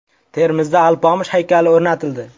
Termizda Alpomish haykali o‘rnatildi.